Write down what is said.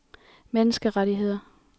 menneskerettigheder